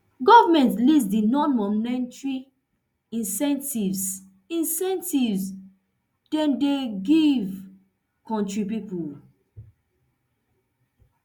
goment list di nonmonetary incentives incentives dem dey give kontri pipo